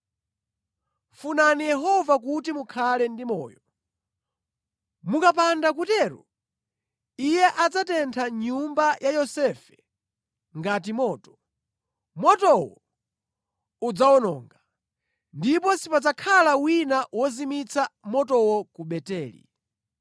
Funani Yehova kuti mukhale ndi moyo, mukapanda kutero Iye adzatentha nyumba ya Yosefe ngati moto; motowo udzawononga, ndipo sipadzakhala wina wozimitsa motowo ku Beteli.